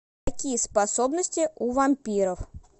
какие способности у вампиров